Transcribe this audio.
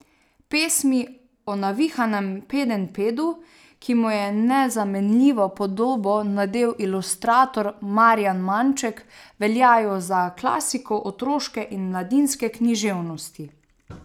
Pesmi o navihanemu Pedenjpedu, ki mu je nezamenljivo podobo nadel ilustrator Marjan Manček, veljajo za klasiko otroške in mladinske književnosti.